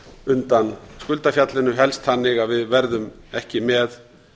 undan skuldafjallinu helst þannig að við verðum ekki með